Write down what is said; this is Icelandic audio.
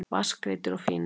Vatnsgreiddir og fínir.